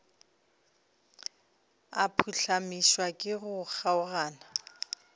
a phuhlamišwa ke go kgaogana